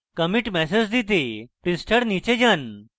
commit message দিতে পৃষ্ঠার নীচে যান